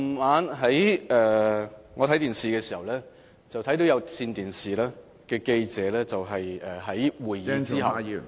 我昨晚看電視時，看到有線電視的記者在會議......